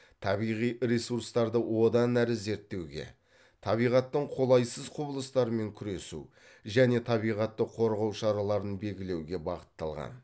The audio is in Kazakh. табиғи ресурстарды одан әрі зерттеуге табиғаттың қолайсыз құбылыстарымен күресу және табиғатты қорғау шараларын белгілеуге бағытталған